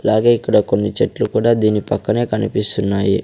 అలాగే ఇక్కడ కొన్ని చెట్లు కూడా దీని పక్కనే కనిపిస్తున్నాయి.